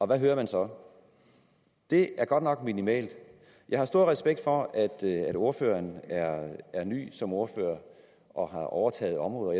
hvad hører man så det er godt nok minimalt jeg har stor respekt for at ordføreren er ny som ordfører og har overtaget området